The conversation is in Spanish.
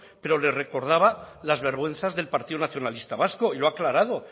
pero le recordaba las vergüenzas del partido nacionalista vasco y lo ha aclarado